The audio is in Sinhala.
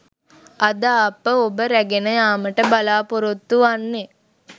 අද අප ඔබ රැගෙන යාමට බලාපොරොත්තු වන්නේ